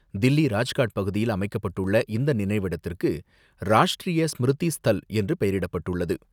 தில்லி ராஜ்காட் பகுதியில் அமைக்கப்பட்டுள்ள இந்த நினைவிடத்திற்கு ராஷ்ட்ரீய ஸ்மிருதி ஸ்தல் என்று பெயரிடப்பட்டுள்ளது.